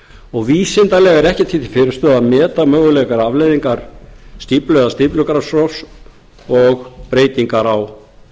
urriðafosslón vísindalega er ekkert því til fyrirstöðu að meta mögulegar afleiðingar stíflu eða stíflugarðarofs og breytingar á